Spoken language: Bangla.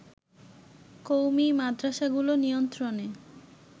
কওমী মাদ্রাসাগুলো নিয়ন্ত্রণে